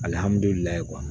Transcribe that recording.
Alihamudulila